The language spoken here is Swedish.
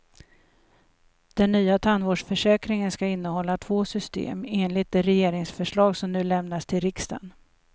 Den nya tandvårdsförsäkringen ska innehålla två system, enligt det regeringsförslag som nu lämnas till riksdagen.